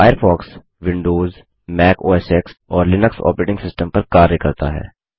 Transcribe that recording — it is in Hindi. फ़ायरफ़ॉक्स विंडोज़ मैक ओएसएक्स और लिनक्स ऑपरेटिंग सिस्टम्स पर कार्य करता है